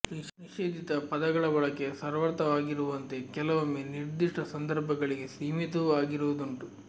ನಿಷೇಧಿತ ಪದಗಳ ಬಳಕೆ ಸರ್ವತ್ರವಾಗಿರುವಂತೆ ಕೆಲವೊಮ್ಮೆ ನಿರ್ದಿಷ್ಟ ಸಂದರ್ಭಗಳಿಗೆ ಸೀಮಿತವೂ ಆಗಿರುವುದುಂಟು